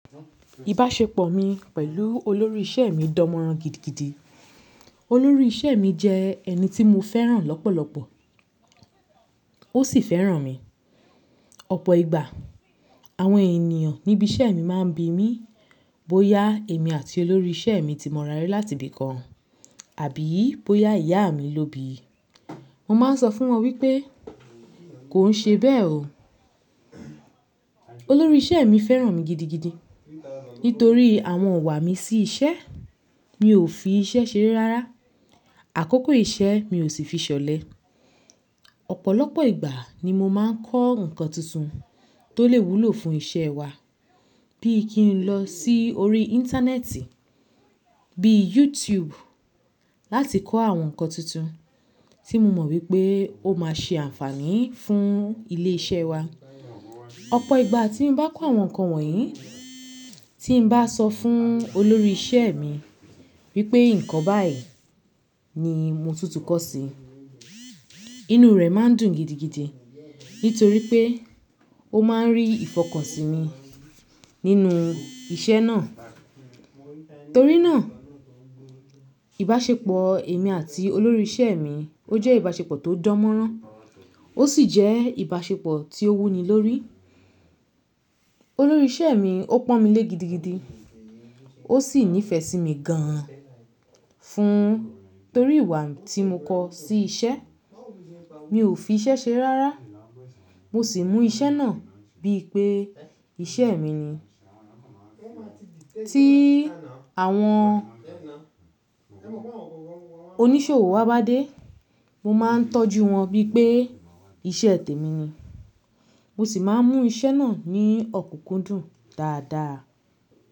Ìbáṣepọ̀ mi pẹ̀lú olórí iṣẹ́ mi dánmọ́rán gidigidi. Olórí iṣẹ́ mi jẹ́ ẹni tí mo fẹ́ràn lọ́pọ̀lọ́pọ̀ ó sì fẹ́ràn mi. Ọ̀pọ̀ ìgbà àwọn ènìyàn níbi iṣẹ́ mi máa ń bi mí bóyá èmi àti olórí iṣẹ́ mi ti mọra rí láti ibìkan àbí bóyá ìyá mi ló bíi Mó máa ń sọ fún wọn wípé, kò ń ṣe bẹ́ẹ̀ o. Olórí iṣẹ́ mi fẹ́ràn mi gidigidi nítorí àwọn ìwà mi sí iṣẹ́. Mi ò fi iṣẹ́ ṣeré rárá. Àkókò iṣẹ́ mi ò sì fi ṣọ̀lẹ Ọ̀pọ̀lọpọ̀ ìgbà ni mo máa ń kọ́ nǹkan tuntun tó lè wúlò fún iṣẹ́ wa bí i kí n lọ sí orí Íńtánẹ́ẹ̀tì bíi YouTube láti kọ́ àwọn nǹkan tuntun tí mo mọ̀ wípé ó máa ṣe ànfààní fún ilé-iṣẹ́ wa. Ọ̀pọ̀ ìgbà tí bá ń kọ́ àwọn nǹkan wọ̀nyí, tí ń bá sọ fún olórí iṣẹ́ mi wípé nǹkan báyìí ni mo tún ti kọ́ sí, inú rẹ máa ń dùn gidigidi nítorí pé ó máa ń rí ìfọkànsìn mi nínú iṣẹ́ náà. Torí náà, ìbáṣepọ̀ èmi àti olórí iṣẹ́ mi ó jẹ́ ìbáṣepọ̀ tó dánmọ́rán ó sì jẹ́ ìbáṣepọ̀ tí ó wúni lórí. Olórí iṣẹ́ mi ó pọ́n mi lé gidigidi, ó sì nífẹ̀ẹ́ sí mi gan fún torí ìwà tí mo kọ sí iṣẹ́. Mi ò fi iṣẹ́ ṣeré rárá mo sì mú iṣẹ́ náà bí i pé iṣẹ́ mìí ni Tí àwọn oníṣòwò wa bá dé, mo máa ń tọ́jú wọn bí i pé iṣẹ́ tèmi ni. Mo sì máa ń mú iṣẹ́ náà ní ọ̀kúnkúndùn dáadáa.